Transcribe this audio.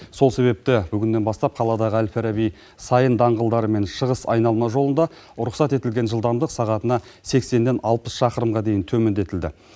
сол себепті бүгіннен бастап қаладағы әл фараби сайын даңғылдары мен шығыс айналма жолында рұқсат етілген жылдамдық сағатына сексеннен алпыс шақырымға дейін төмендетілді